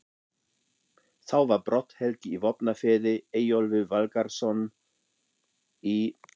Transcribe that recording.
Þá var Brodd-Helgi í Vopnafirði, Eyjólfur Valgerðarson í